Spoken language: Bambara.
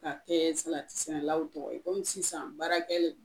K'a kɛɛ salati sɛnɛlaw tɔgɔ ye komi sisan baarakɛlen